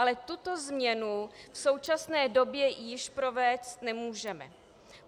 Ale tuto změnu v současné době již provést nemůžeme.